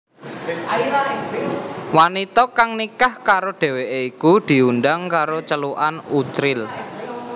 Wanita kang nikah karo dheweké iku diundhang karo celukan Uchril